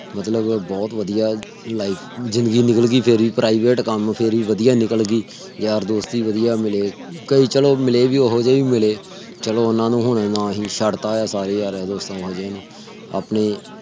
ਮਤਲਬ ਬਹੁਤ ਵਧੀਆ life ਜ਼ਿੰਦਗੀ ਨਿਕਲ ਗਈ ਮੇਰੀ। private ਕਮ ਸੀ ਫਿਰ ਭੀ ਵਧੀਆ ਨਿਕਲ ਗਈ। ਯਾਰ ਦੋਸਤ ਭੀ ਵਧੀਆ ਮਿਲੇ। ਕਈ ਚਲੋ ਮਿਲੇ ਹੋਜੇ ਭੀ ਮਿਲੋ। ਚਲੋ ਓਹਨਾ ਨੂੰ ਹੁਣੇ ਨਾਲ ਹੀ ਛੱਡ ਤਾ ਹੈ। ਆਪਣੇ